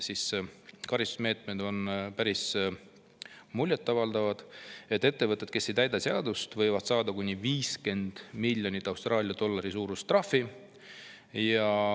Karistusmeetmed on päris muljetavaldavad: ettevõtted, kes ei täida seadust, võivad saada kuni 50 miljoni Austraalia dollari suuruse trahvi.